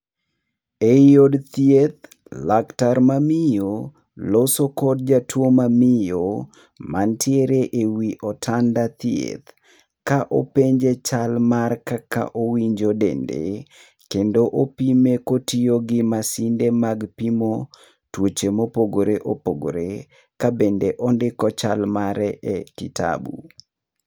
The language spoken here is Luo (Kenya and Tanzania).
Ei od thieth, laktar mamiyo loso kod jatuo mamiyo mantiere ewi otanda thieth. Ka openje chal mar kaka owinjo dende, kendo opime kotiyo gi masinde mag pimo tuoche mopogore opogore ka bende ondiko chal mare e kitabu.